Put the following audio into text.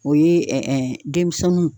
O ye denmisɛnninw.